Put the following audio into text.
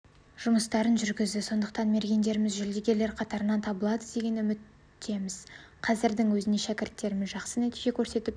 жұмыстарын жүргізді сондықтан мергендеріміз жүлдегерлер қатарынан табылады деген үміттеміз қазірдің өзінде шәкірттеріміз жақсы нәтиже көрсетіп